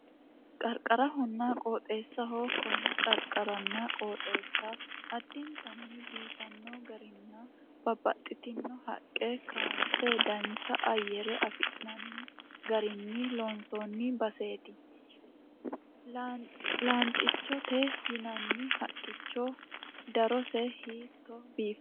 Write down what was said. Qarqarahonna qooxeessaho. Konne qarqaranna qooxeessa addintanni biifanno garinninna babbaxitino haqqe kaayinse dancha ayyare afi'nanni garinni loonsoonni baseeti. Lanxichote yinanni haqqicho darose hiitto biiffanno.